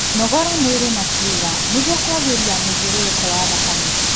Nogora mwĩrĩ na kiicga nĩguo kuagirĩa mũthiũrũrũko wa thakame